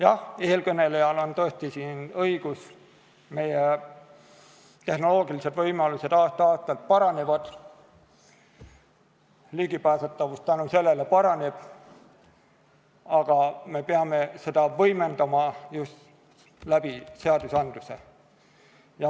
Jah, eelkõnelejal on tõesti õigus, meie tehnoloogilised võimalused aasta-aastalt paranevad, ligipääsetavus tänu sellele paraneb, aga me peame seda võimendama just seadusandluse abil.